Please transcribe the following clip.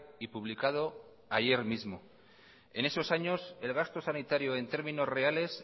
y publicado ayer mismo en esos años el gasto sanitario en términos reales